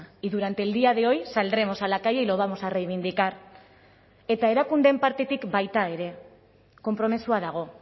y durante el día de hoy saldremos a la calle y lo vamos a reivindicar eta erakundeen partetik baita ere konpromisoa dago